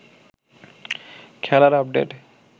খেলার আপডেট